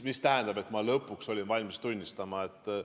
Mis tähendab, et ma lõpuks olin valmis tunnistama?